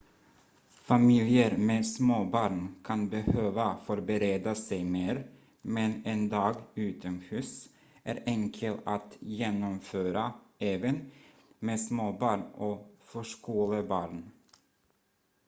familjer med småbarn kan behöva förbereda sig mer men en dag utomhus är enkel att genomföra även med småbarn och förskolebarn